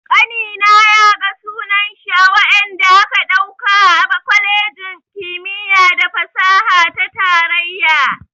Ƙanina ya ga sunan shi a wadanda aka ɗauka a kwalejin kimiyya da fasaha ta tarayya.